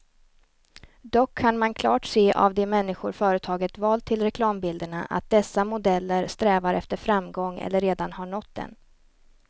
Dock kan man klart se av de människor företaget valt till reklambilderna, att dessa modeller strävar efter framgång eller redan har nått den.